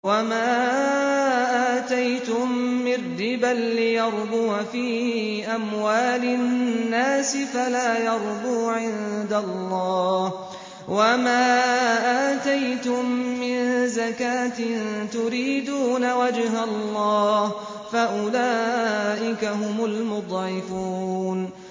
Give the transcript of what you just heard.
وَمَا آتَيْتُم مِّن رِّبًا لِّيَرْبُوَ فِي أَمْوَالِ النَّاسِ فَلَا يَرْبُو عِندَ اللَّهِ ۖ وَمَا آتَيْتُم مِّن زَكَاةٍ تُرِيدُونَ وَجْهَ اللَّهِ فَأُولَٰئِكَ هُمُ الْمُضْعِفُونَ